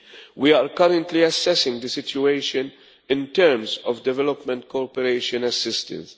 We are currently assessing the situation in terms of development cooperation assistance.